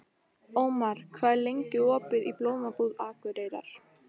Ómar, hvað er lengi opið í Blómabúð Akureyrar?